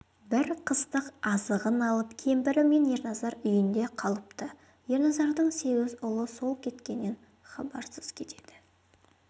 бір қыстық азығын алып кемпірі мен ерназар үйінде қалыпты ерназардың сегіз ұлы сол кеткеннен хабарсыз кетеді